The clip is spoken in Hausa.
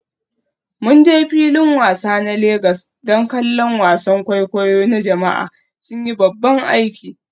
Mun je filin wasa na Legas don kallon wasan kwaikwayo na jama'a, sun yi babban aiki.